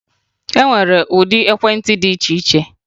E nwere ụdị ekwentị dị iche iche